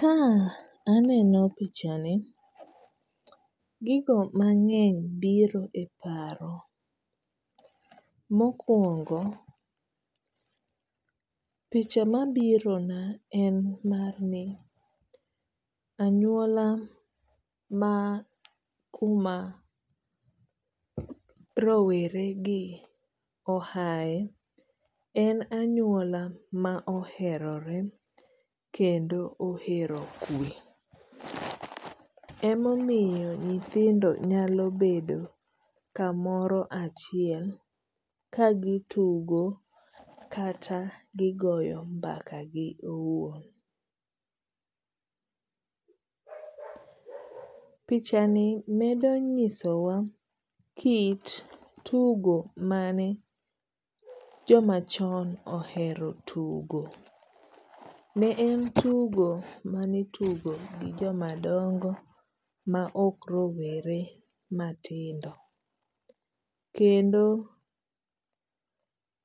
Ka aneno pichani, gigo mang'eny biro e paro. Mokuongo picha mabirona en mar ni anyuola ma kuma rowere gi ohae. En anyuola ma oherore kendo ohero kue .Emomiyo nyithindo nyalo bedo kamoro achiel kagitugo kata gigoyo mbakagi owuon .Pichani medo nyisowa kit tugo mane jomachon ohero tugo. Ne en tugo manitugo gi jomadongo ma ok rowere matindo kendo